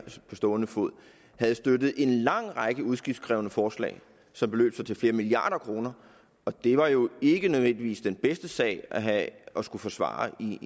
på stående fod havde støttet en lang række udgiftskrævende forslag som beløb sig til flere milliarder kroner og det var jo ikke nødvendigvis den bedste sag at have at skulle forsvare i